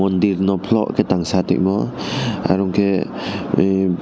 dirno polo khe tangsa tuimo arong khe em.